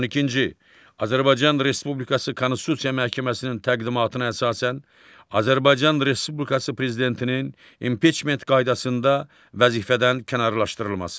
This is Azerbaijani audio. On ikinci, Azərbaycan Respublikası Konstitusiya Məhkəməsinin təqdimatına əsasən Azərbaycan Respublikası Prezidentinin impiçment qaydasında vəzifədən kənarlaşdırılması.